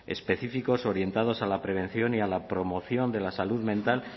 específicos orientados a la prevención y a la promoción de la salud mental